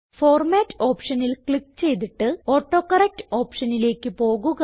format ഓപ്ഷനിൽ click ചെയ്തിട്ട് autocorrect ഓപ്ഷനിലേക്ക് പോകുക